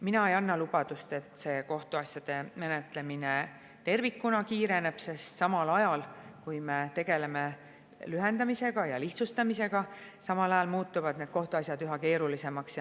Mina ei anna lubadust, et kohtuasjade menetlemine tervikuna kiireneb, sest samal ajal, kui me tegeleme lühendamise ja lihtsustamisega, muutuvad kohtuasjad üha keerulisemaks.